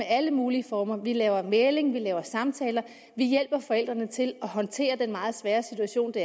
alle mulige former vi laver mægling vi laver samtaler vi hjælper forældrene til at håndtere den meget svære situation det